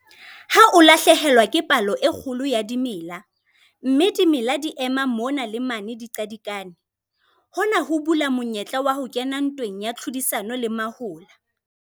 Ha o lahlehelwa ke palo e kgolo ya dimela, mme dimela di ema mona le mane di qadikane, hona ho bula monyetla wa ho kena ntweng ya tlhodisano le mahola.